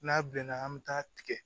N'a bilenna an bɛ taa tigɛ